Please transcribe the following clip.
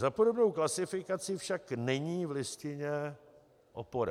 Za podobnou klasifikaci však není v Listině opora.